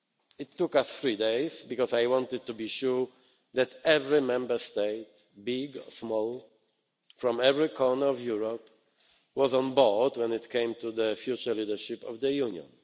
It took us three days because I wanted to be sure that every Member State, big or small, from every corner of Europe, was on board when it came to the future leadership of the Union.